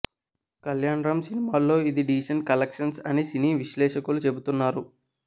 కళ్యాణ్ రామ్ సినిమాల్లో ఇది decent collections అని సినీ విశ్లేషకులు చెపుతున్నారు